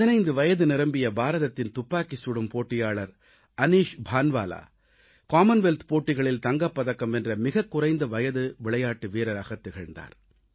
15 வயது நிரம்பிய பாரதத்தின் துப்பாக்கிச் சுடும் போட்டியாளர் அனீஷ் பான்வாலா காமன்வெல்த் போட்டிகளில் தங்கப் பதக்கம் வென்ற மிகக் குறைந்த வயது விளையாட்டு வீரராகத் திகழ்ந்தார்